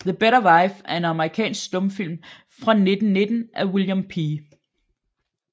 The Better Wife er en amerikansk stumfilm fra 1919 af William P